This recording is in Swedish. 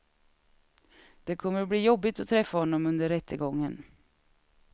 Det kommer att bli jobbigt att träffa honom under rättegången.